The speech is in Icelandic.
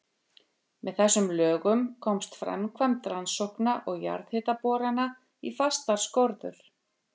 Með þessum lögum komst framkvæmd rannsókna og jarðhitaborana í fastar skorður.